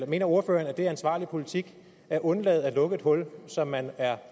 mener ordføreren at det er ansvarlig politik at undlade at lukke et hul som man er